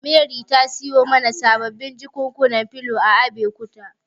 Mary ta siyo mana sababbin jakunkunan filo a Abekuta.